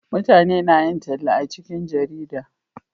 mutane na yin talla a cikin jarida